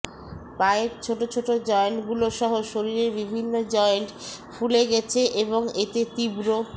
পায়ের ছোট ছোট জয়েন্টগুলোসহ শরীরের বিভিন্ন জয়েন্ট ফুলে গেছে এবং এতে তীব্র